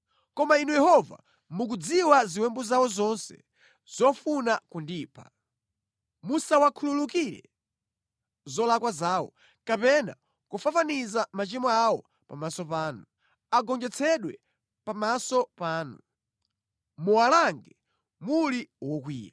Koma Inu Yehova, mukudziwa ziwembu zawo zonse zofuna kundipha. Musawakhululukire zolakwa zawo kapena kufafaniza machimo awo pamaso panu. Agonjetsedwe pamaso panu; muwalange muli wokwiya.”